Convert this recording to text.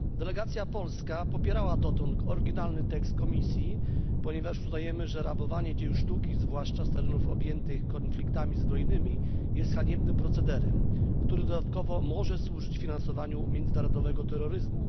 Delegacja polska popierała dotąd oryginalny tekst Komisji, ponieważ uznajemy, że rabowanie dzieł sztuki, zwłaszcza z terenów objętych konfliktami zbrojnymi, jest haniebnym procederem, który dodatkowo może służyć finansowaniu międzynarodowego terroryzmu.